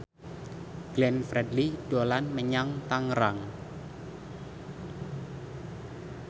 Glenn Fredly dolan menyang Tangerang